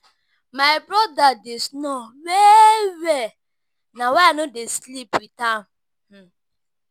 My broda dey snore well-well na why I no dey sleep wit am.